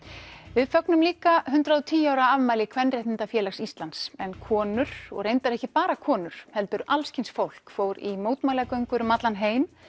við fögnum líka hundrað og tíu ára afmæli Kvenréttindafélags Íslands en konur og reyndar ekki bara konur heldur alls kyns fólk fór í mótmælagöngur um allan heim